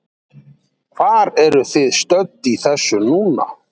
Hvar eru þið stödd í þessu núna?